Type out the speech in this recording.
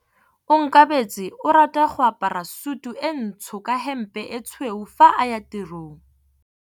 Onkabetse o rata go apara sutu e ntsho ka hempe e tshweu fa a ya tirong.